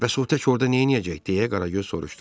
Bəs o tək orda neyləyəcək deyə Qaragöz soruşdu.